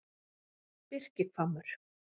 Birkihvammur